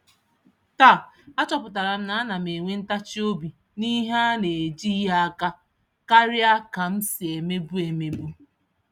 Taa, a chọpụtaram na ánám enwe ntachi-obi n'ihe anejighi àkà, karịa kam si emebu. emebu.